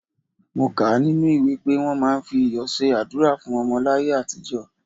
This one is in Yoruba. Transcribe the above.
Mo kà á nínú ìwé pé wọ́n máa ń fi iyọ̀ ṣe àdúrà fún ọmọ láyé àtijọ́.